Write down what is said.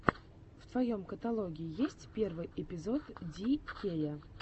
в твоем каталоге есть первый эпизод ди кея